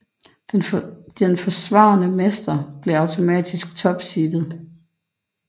Den forsvarende mestre bliver automatisk topseedet